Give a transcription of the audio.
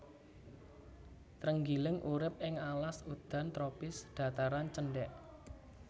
Trenggiling urip ing alas udan tropis dhataran cendhèk